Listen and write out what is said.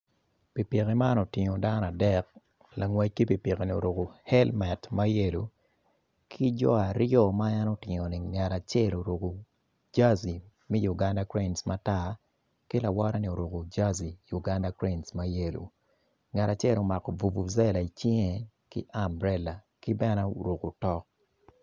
Pikipiki man otingo dano adek langwec ki pikipiki-ni oruku elmet ma yelo ki jo aryo ma en utingo-ni ngat acel oruku jaji me Uganda kurein matar ki lawotte-ni oruku jaji Uganda kurein mayelo ngat acel omako bubujela i cinge ki amburela ki bene oruku otok